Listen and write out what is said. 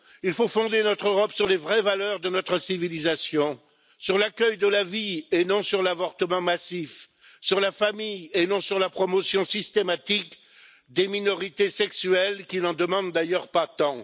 Il faut fonder notre Europe sur les vraies valeurs de notre civilisation, sur l'accueil de la vie et non sur l'avortement massif, sur la famille et non sur la promotion systématique des minorités sexuelles, qui n'en demandent d'ailleurs pas tant.